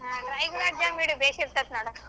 ಹ್ಮ್ dry gulab jamun ಭೇಷ್ ಇರ್ತಾಯ್ತ್ ನೋಡು.